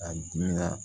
A dimi